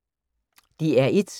DR1